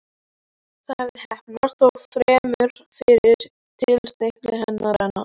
Það hafði heppnast, þó fremur fyrir tilstilli hennar en hans.